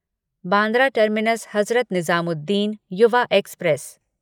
Bandra terminus Hazrat Nizamuddin Yuva express